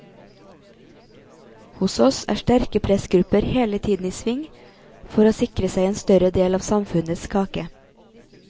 Hos oss er sterke pressgrupper hele tiden i sving for å sikre seg en større del av samfunnets kake.